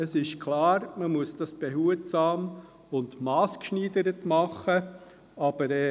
Es ist klar, dass dies behutsam und massgeschneidert gemacht werden muss.